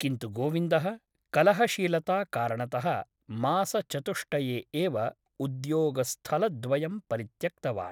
किन्तु गोविन्दः कलहशीलताकारणतः मासचतुष्टये एव उद्योगस्थलद्वयं परित्यक्तवान् ।